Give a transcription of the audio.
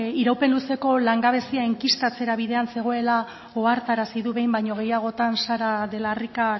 iraupen luzeko langabezia enkistatzera bidean zegoela ohartarazi du behin baino gehiagotan sara de la rica